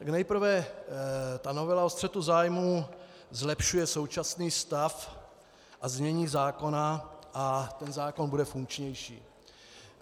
Tak nejprve, ta novela o střetu zájmů zlepšuje současný stav a znění zákona a ten zákon bude funkčnější.